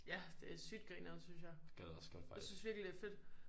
Ja det er sygt grineren synes jeg jeg synes virkelig det er fedt